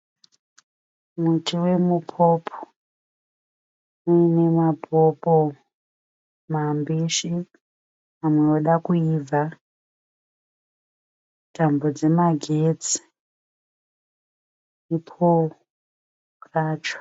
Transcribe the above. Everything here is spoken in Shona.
Muti wemupopo uine mapopo mambishi mamwe oda kuibva. Tambo dzemagetsi nepooro racho.